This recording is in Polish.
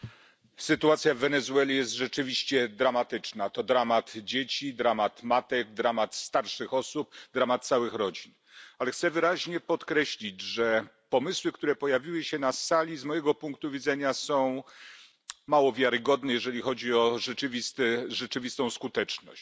Panie Przewodniczący! Sytuacja w Wenezueli jest rzeczywiście dramatyczna. To dramat dzieci, dramat matek, dramat starszych osób, dramat całych rodzin. Ale chcę wyraźnie podkreślić, że pomysły, które pojawiły się na sali, z mojego punktu widzenia są mało wiarygodne, jeżeli chodzi o rzeczywistą skuteczność.